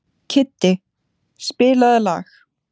Kiddi, spilaðu lag.